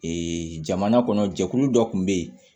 jamana kɔnɔ jɛkulu dɔ kun bɛ yen